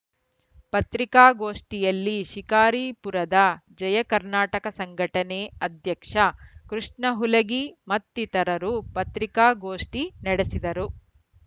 ಪತ್ರಿಕಾಗೋಷ್ಠಿಯಲ್ಲಿ ಶಿಕಾರಿಪುರದ ಜಯಕರ್ನಾಟಕ ಸಂಘಟನೆ ಅಧ್ಯಕ್ಷ ಕೃಷ್ಣ ಹುಲಗಿ ಮತ್ತಿತರರು ಪತ್ರಿಕಾಗೋಷ್ಠಿ ನಡೆಸಿದರು